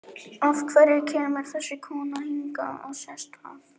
Af hverju kemur þessi kona hingað og sest að?